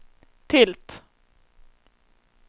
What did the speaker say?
tilt